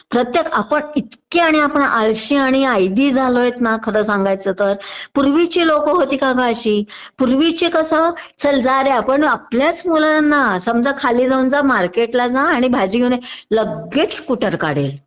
प्रत्येक आपण इतके आणि आपण आळशी आणि ऐदी झालो आहोत ना खरं सांगायचं तर पूर्वीची लोक होती का ग अशी पूर्वीची कसं चल जा रे आपण आपल्याच मुलांना समजा खाली जाऊन जा मार्केटला जा भाजी घेऊन ये लगेच स्कुटर काढेल